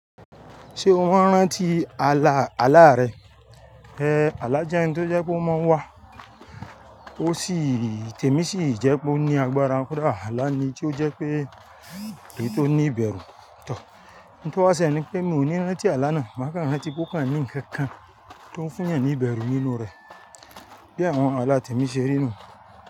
Ṣé o máa ń rántí àlà àlà rẹ? Àlà jẹ́ tó jẹ́ kó máa ń wà, ó sì-- tẹ̀mí sì jẹ́ pé ó ní agbára. Kódà àlà ni tí ó jẹ́ pé è tó ní ìbẹ̀rù. Tór n tó wá ṣe lè ni pé mi ò ní rántí àlà náà, màá kà ń rántí pé ó kàn ní ǹkan kan tó ń fún yan ní ìbẹ̀rù nínú rẹ̀. Bí àwọn àlà tèmi ṣe rí nù.